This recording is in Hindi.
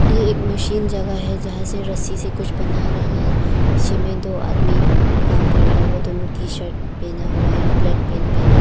ये एक मशीन जगह है जहां से रस्सी से कुछ बना रहा है पीछे में दो आदमी काम कर रहा है वो दोनों टीशर्ट पहना हुआ है और ब्लैक पेंट पहेना--